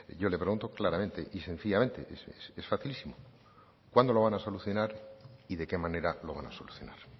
yo le pregunto claramente y sencillamente es facilísimo cuándo lo van a solucionar y de qué manera lo van a solucionar